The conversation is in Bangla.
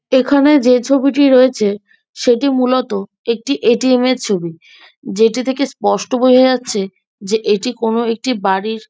এখানে যে ছবিটি রয়েছে সেটি মূলত একটি এ.টি.এম. এর ছবি যেটি থেকে স্পষ্ট বোজা যাচ্ছে এটি কোনো একটি বাড়ির।